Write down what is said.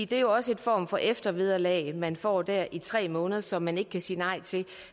det er jo også en form for eftervederlag man får der i tre måneder og som man ikke kan sige nej til